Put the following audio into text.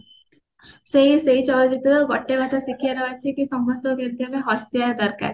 ସେଇ ସେଇ ଚଳଚିତ୍ର ଗୋଟେ ଗୋଟେ ଶିକ୍ଷା ନବାର ଅଛି କି ସମସ୍ତଙ୍କୁ କେମତି ଆମେ ହସେଇବା ଦରକାର